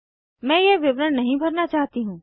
मैं यह विवरण नहीं भरना चाहती हूँ